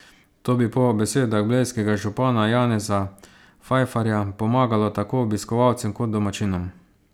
To bi po besedah blejskega župana Janeza Fajfarja pomagalo tako obiskovalcem kot domačinom.